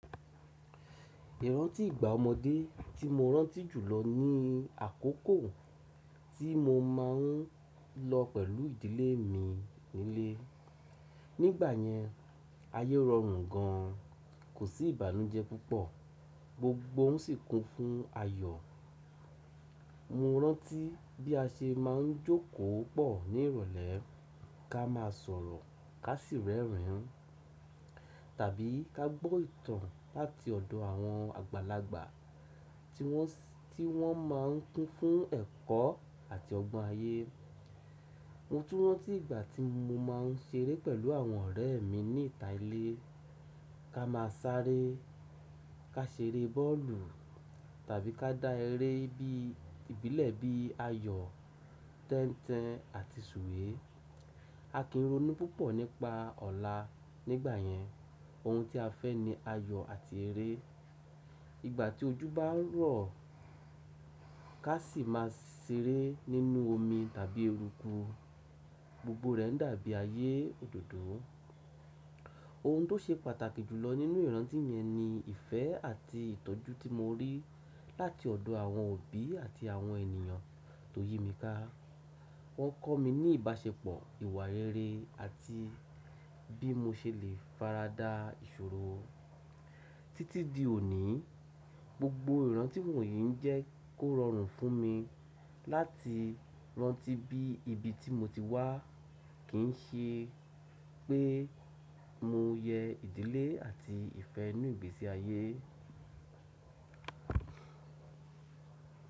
Ìrántì ìgbà ọmọdé tí mo rántí jùlọ ni àkókò tí mo máa ń lọ pẹ̀lú ìdílé mi nílé. Nígbà yẹn, ayé rọrùn gan an, kò sí ìbànújẹ́ púpọ̀, gbogbo ohun sì kún fún ayọ̀. Mo rántí bí a ṣe máa ń jókòó pọ̀ ní ìrọ̀lẹ́, ká máa sọ̀rọ̀, ká sì rẹ́rìn-ín tàbí ká gbọ́ ìtàn láti ọ̀dọ̀ àwọn àgbàlagbà tí wọ́n si ti wọ́n máa ń kún fún ẹ̀kọ́ àti ọgbọ́n ayé. Mo tún rántí ìgbà tí mo máa ń ṣeré pẹ̀lú àwọn ọ̀rẹ́ mi ní ìta ilé, ká máa sáré, ká ṣeré bọ́ọ̀lù tàbí ká dá eré bí ìbílẹ̀ bí ayọ̀, tẹ́ń-tẹn àti sùwé. A kì í ronú púpọ̀ nípa ọ̀la nígbà yẹn, ohun tí a fẹ́ ni ayọ̀ àti eré. Ìgbà tí ojú bá ń rọ̀, ká sì máa ṣeré nínú omi tàbí erúkú. Gbogbo rẹ̀ ń dàbí ayé òdòdó. Ohun tó ṣe pàtàkì jù lọ nínú ìrántí mi ẹni ìfẹ́ àti ìtọ́jú tí mo rí láti ọ̀dọ̀ àwọn òbí àti àwọn ènìyàn tó yí mi ká. Wọ́n kọ́ mi ní ìbáṣepọ̀, ìwà rere àti bí mo ṣe lè farada ìṣòro. Títí di òní, gbogbo ìrántí wọ̀nyí ń jẹ́ kó rọrùn fún mi láti rántí bí ibi tí mo ti wá kì ń ṣe pé mo yẹ ìdílé àti ìfẹ́ inú ìgbésí ayé.